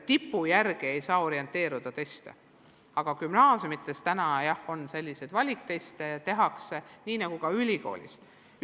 Tipu järgi ei saa üldisi teste koostada, aga gümnaasiumides on muidugi selliseid valikteste, nii nagu neid ka ülikoolis tehakse.